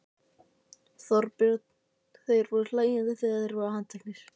Þorbjörn: Þeir voru hlæjandi þegar þeir voru handteknir?